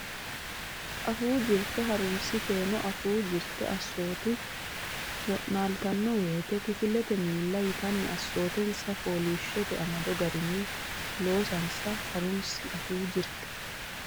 Afuu Jirte Ha runsi keeno afuu jirte assoote wo naaltanno woyte kifilete milli yitanni assootensa fooliishshote amado garinni loosansa ha runsi Afuu Jirte.